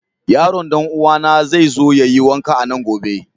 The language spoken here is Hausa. Yaron dan'uwana zai zo ya yi wanka a nan gobe.